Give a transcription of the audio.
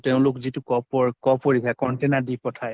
তেওঁলোক যিটো কপৰ cough পৰিক্ষা container দি পঠায়